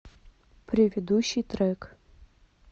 предыдущий трек